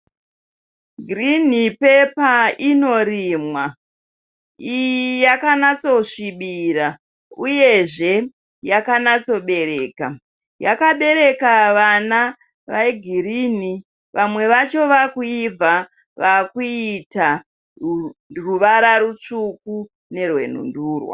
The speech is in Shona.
Girinhi pepa inorimwa. Iyi yakanatsosvibira uyezve yakanatsobereka. Yakabereka vana vegirinhi vamwe vacho vaakuibva vakuita ruvara rutsvuku nerwenhundurwa.